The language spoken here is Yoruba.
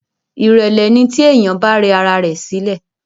Ìrẹ́lẹ́ ni tí èèyàn bá rẹ ara rẹ sílẹ̀